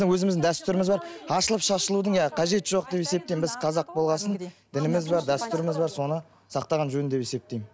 өзіміздің дәстүріміз бар ашылып шашылудың иә қажеті жоқ деп есептеймін біз қазақ болғасын дініміз бар дәстүріміз бар соны сақтаған жөн деп есептеймін